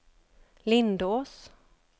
Lindås